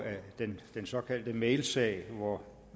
den såkaldte mailsag hvor